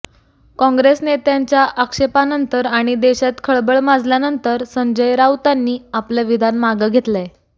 काँग्रेस नेत्यांच्या आक्षेपानंतर आणि देशात खळबळ माजल्यानंतर संजय राऊतांनी आपलं विधान मागे घेतलंय